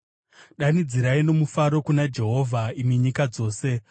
Danidzirai nomufaro kuna Jehovha, imi nyika dzose.